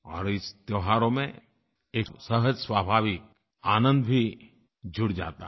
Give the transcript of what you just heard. और इन त्योहारों में एक सहज स्वाभाविक आनंद भी जुड़ जाता है